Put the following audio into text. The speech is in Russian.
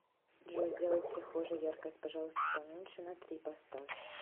джой сделай в прихожей яркость пожалуйста поменьше на три поставь